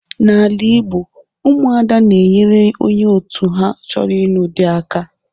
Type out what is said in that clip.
N'ala Igbo Ụmụada na-enyere onye otu ha choro ịnụ di aka.